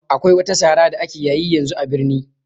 Akwai wata sara da ake yayi yanzu a birni